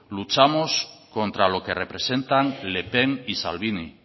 luchamos contra lo que representan le pen y salvini